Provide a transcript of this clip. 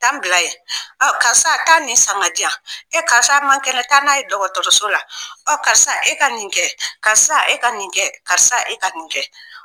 Ta'an bila yen, ɔ karisa taa nin san di yan, e karisa a man kɛnɛ , taa n'a ye dɔgɔtɔrɔso la, ɔ karisa e ka nin kɛ, karisa e ka nin kɛ, karisa e ka nin kɛ!